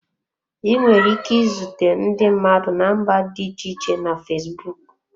Ị nwere ike izute ndị mmadụ na mba dị iche iche na fesbụụk.